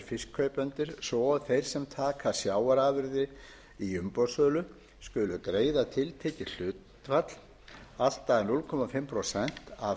fiskkaupendur svo og þeir sem taka sjávarafurðir í umboðssölu skulu greiða tiltekið hlutfall allt að hálft prósent af